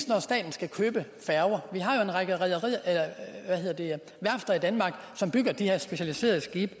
når staten skal købe færger vi har jo en række værfter i danmark som bygger de her specialiserede skibe